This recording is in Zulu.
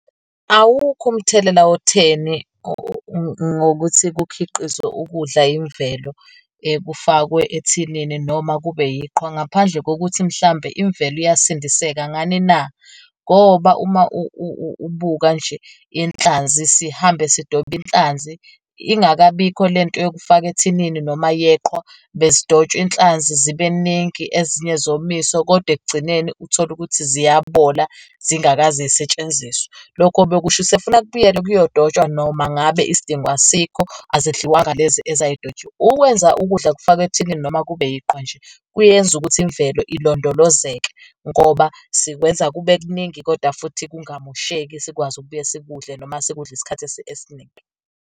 Awukho umthelela otheni ngokuthi kukhiqizwe ukudla imvelo kufakwe ethinini noma kube yiqhwa, ngaphandle kokuthi mhlambe imvelo iyasindeka. Ngani na? Ngoba uma ubuka nje inhlanzi sihambe sidobe inhlanzi ingakabikho lento yokufaka ethinini noma yeqhwa, bezidontshwa inhlanzi zibeningi ezinye zomiswe, kodwa, ekugcineni uthole ukuthi ziyabola zingakaze yisetshenziswe. Lokho bekusho ukuthi sekufuna kubuyelwe kuyodotshwa noma ngabe isidingo asikho azidliwanga lezi ezayidotshiwe. Ukwenza ukudla kufakwe ethinini noma kube iqhwa nje, kuyenza ukuthi imvelo ilondolozeke ngoba sikwenza kube kuningi kodwa futhi kungamosheki sikwazi ukubuye sikudle noma sikudle isikhathi esiningi.